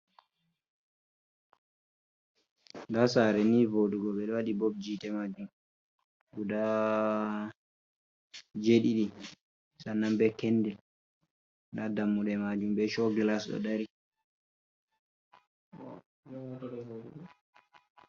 Daa saare nii voodugo, ɓe ɗo waɗi bobji yi'ite maajum gudaa jeeɗiɗi. Sannam bee kendil, daa dammuɗe maajum bee shoovel haso dari.